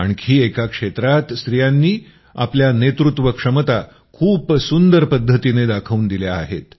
आणखी एका क्षेत्रात स्त्रियांनी आपल्या नेतृत्व क्षमता खूप सुंदर पद्धतीने दाखवून दिल्या आहेत